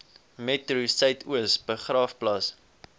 metro suidoos begraafplaas